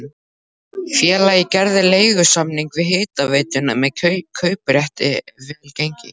Félagið gerði leigusamning við hitaveituna með kauprétti ef vel gengi.